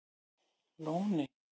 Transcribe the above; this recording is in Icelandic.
Lóni